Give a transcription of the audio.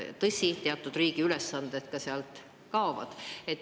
Samas, tõsi, riigi teatud ülesanded ka kaovad.